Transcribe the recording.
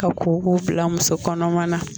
Ka koko bilamuso kɔnɔman na